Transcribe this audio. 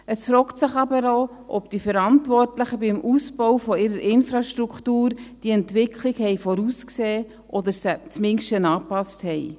Es fragt sich aber auch, ob die Verantwortlichen beim Ausbau ihrer Infrastruktur diese Entwicklung vorhergesehen oder sie zumindest angepasst haben.